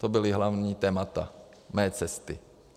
To byla hlavní témata mé cesty.